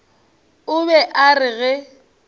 o be a re ge